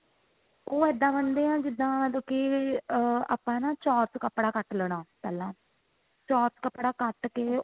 ਉਹ ਏਦਾ ਬਣਦੇ ਆ ਜਿੱਦਾਂ ਜੋ ਕਿ ah ਆਪਾਂ ਨਾ ਚੋਰਸ ਕੱਪੜਾ ਕੱਟ ਲੈਣਾ ਪਹਿਲਾ ਚੋਰਸ ਕੱਪੜਾ ਕੱਟ ਕੇ